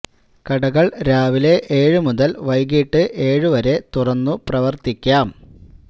കടകള് രാവിലെ ഏഴു മുതല് വൈകിട്ട് ഏഴു വരെ തുറന്നു പ്രകർത്തിയ്ക്കാം